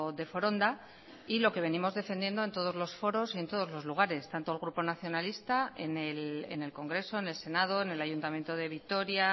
de foronda y lo que venimos defendiendo en todos los foros y en todos los lugares tanto al grupo nacionalista en el congreso en el senado en el ayuntamiento de vitoria